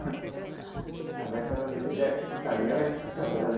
അതൊക്കെ വെറുതെ ച്ചാ കളികളിനി അതെ.